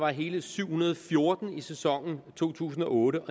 hele syv hundrede og fjorten i sæsonen to tusind og otte